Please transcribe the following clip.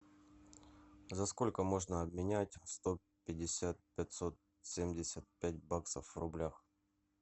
за сколько можно обменять сто пятьдесят пятьсот семьдесят пять баксов в рублях